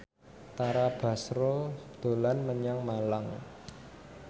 Tara Basro dolan menyang Malang